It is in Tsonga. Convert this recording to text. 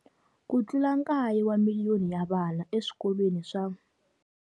Ku tlula kaye wa miliyoni ya vana eswikolweni swa.